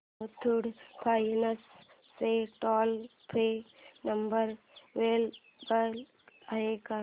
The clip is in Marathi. मुथूट फायनान्स चा टोल फ्री नंबर अवेलेबल आहे का